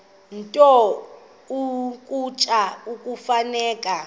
nto ukutya kufuneka